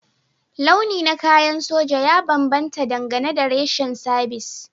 Launi na kayan soja ya bambanta dangane da reshen sabis